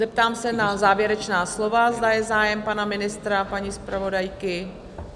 Zeptám se na závěrečná slova, zda je zájem pana ministra a paní zpravodajky?